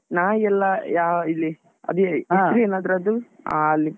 ನಾಯಿ ಎಲ್ಲ ಯಾ~ ಇಲ್ಲಿ ಹೆಸ್ರೇನ್ ಅದ್ರದ್ದು? ಅಹ್ ಅಲ್ಲಿ.